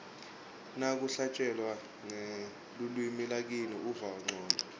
nakuhlatjelwa ngelulwimi lakini uva ncono